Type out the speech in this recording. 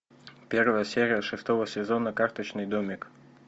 первая серия шестого сезона карточный домик